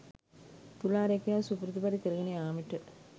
තුලා රැකියාව සුපුරුදු පරිදි කරගෙන යාමට